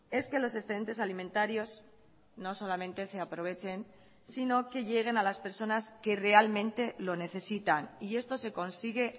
es que los excedentes alimentarios no solamente se aprovechen sino que lleguen a las personas que realmente lo necesitan y esto se consigue